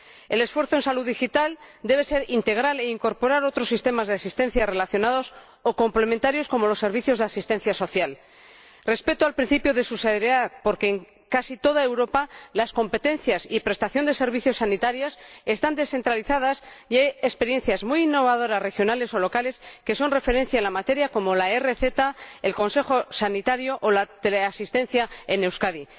El esfuerzo en salud digital debe ser integral e incorporar otros sistemas de asistencia relacionados o complementarios, como los servicios de asistencia social. El respeto del principio de subsidiariedad, porque en casi toda Europa las competencias y prestaciones de servicios sanitarios están descentralizadas y hay experiencias muy innovadoras, regionales o locales, que son referencia en la materia, como la e rezeta el consejo sanitario o la teleasistencia en Euskadi.